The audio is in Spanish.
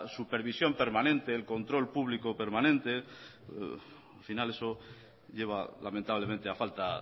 supervisión permanente el control público permanente al final eso lleva lamentablemente a falta